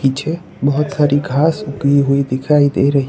मुझे बहोत सारी घास उगी हुई दिखाई दे रही।